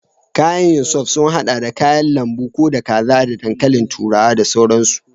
Kayan yin soup sun haɗa da kayan lambu, da kaza ko da dankalin turawa da sauransu.